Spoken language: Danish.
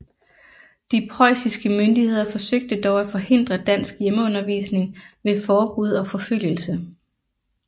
De preussiske myndigheder forsøgte dog at forhindre dansk hjemmeundervisning ved forbud og forfølgelse